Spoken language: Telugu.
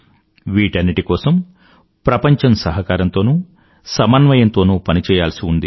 వీటన్నింటి కోసం ప్రపంచం సహకారంతోనూ సమన్వయంతోనూ పనిచేయాల్సి ఉంది